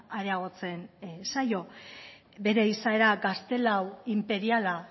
areagotzen zaio bere izaera gaztelau inperiala